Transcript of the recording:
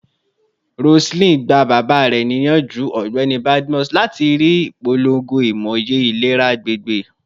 Roseline, gba baba rẹ ni iyanju, Ọgbẹni Badmus, lati dari ipolongo imoye ilera agbegbe